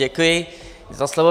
Děkuji za slovo.